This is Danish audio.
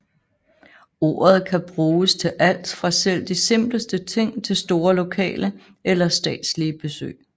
Ordet kan bruges til alt fra selv de simpleste ting til store lokale eller statslige besøg